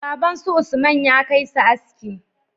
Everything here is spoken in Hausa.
Baban su usman ya kai su aski